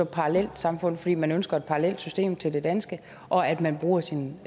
parallelsamfund fordi man ønsker et parallelt system til det danske og at man bruger sin